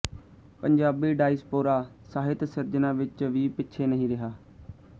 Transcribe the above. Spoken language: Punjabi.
ਪੰਜਾਬੀ ਡਾਇਸਪੋਰਾ ਸਾਹਿਤ ਸਿਰਜਣਾ ਵਿੱਚ ਵੀ ਪਿੱਛੇ ਨਹੀਂ ਰਿਹਾ